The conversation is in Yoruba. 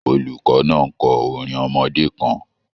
Olùkọ náà n kọ orin ọmọdé kàn.